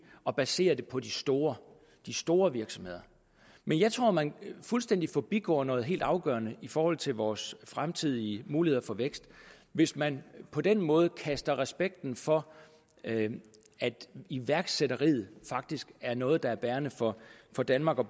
at basere det på de store de store virksomheder men jeg tror at man fuldstændig forbigår noget helt afgørende i forhold til vores fremtidige muligheder for vækst hvis man på den måde kaster respekten for at iværksætteriet faktisk er noget der er bærende for for danmark og